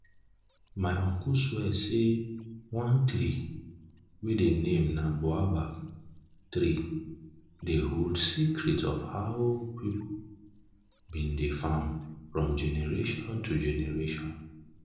my uncle swear say one tree wey de name na boabab tree dey hold secrets of how people been dey farm from generation to generation